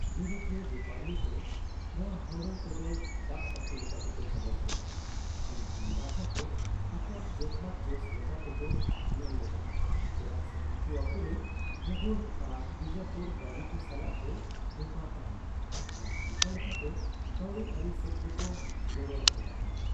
ᱤᱭᱩᱨᱳᱯᱤᱭᱳ ᱵᱮᱯᱟᱨᱤᱭᱟᱹ ᱠᱚ ᱱᱚᱣᱟ ᱦᱟᱣᱲᱟᱣ ᱠᱚᱫᱚ ᱫᱟᱜ ᱰᱟᱹᱠᱩ ᱞᱮᱠᱟᱛᱮᱠᱚ ᱜᱟᱞᱚᱪ ᱞᱮᱫᱟ, ᱢᱮᱱᱠᱷᱟᱱ ᱢᱟᱨᱟᱴᱷᱟ ᱠᱚ ᱟᱠᱚᱣᱟᱜ ᱡᱚᱛᱷᱟᱛ ᱡᱚᱥ ᱞᱮᱠᱟ ᱛᱮᱠᱚ ᱧᱮᱞ ᱞᱮᱫᱟ ᱪᱮᱫᱟᱜ ᱥᱮ ᱩᱱᱠᱩ ᱟᱠᱚᱨᱮᱱ ᱢᱩᱜᱷᱚᱞ ᱟᱨ ᱵᱤᱡᱟᱯᱩᱨ ᱵᱟᱹᱭᱨᱤ ᱠᱚ ᱥᱟᱞᱟᱜ ᱠᱚ ᱵᱮᱯᱟᱨ ᱛᱟᱦᱮᱱᱟ ᱟᱨ ᱱᱚᱝᱠᱟ ᱞᱮᱠᱟᱛᱮ ᱠᱟᱹᱣᱰᱤᱭᱟᱹᱨᱤ ᱥᱮᱫᱛᱮ ᱠᱚ ᱜᱚᱲᱚ ᱟᱠᱚ ᱛᱟᱦᱮᱱᱟ ᱾